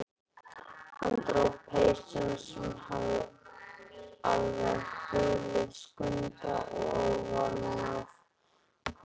Hann dró peysuna, sem hafði alveg hulið Skunda, ofanaf hvolpinum.